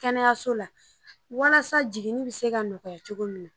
Kɛnɛyaso la walasa jigini bi se ka nɔgɔya cogo min na